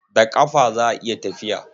Da ƙafa za a yi tafiya.